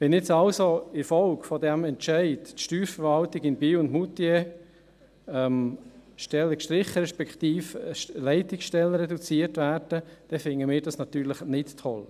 Wenn jetzt also in Folge dieses Entscheids in der Steuerverwaltung Biel und Moutier Stellen gestrichen, respektive Leitungsstellen reduziert werden, dann finden wir das natürlich nicht toll.